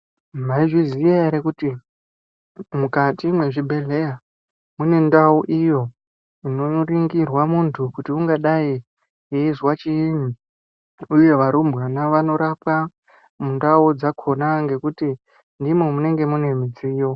Mwaizviziya ere kuti mukati mwezvibhedhleya mune ndau iyo inoringirwa muntu kuti ungadai eizwa chiini uye varumbwana vanorapwa mundau dzakhona ngekuti ndimwo munenge mune mudziyo.